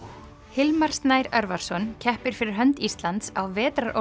Hilmar Snær Örvarsson keppir fyrir hönd Íslands á